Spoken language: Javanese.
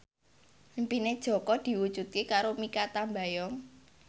impine Jaka diwujudke karo Mikha Tambayong